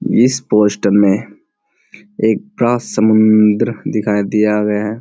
इस पोस्टर में एक बड़ा समुद्र दिखाया गया है।